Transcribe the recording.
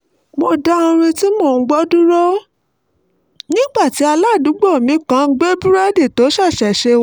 mo dá orin tí mò ń gbọ́ dúró nígbà tí aládùúgbò mi kan gbé búrẹ́dì tó ṣẹ̀ṣẹ̀ sè wá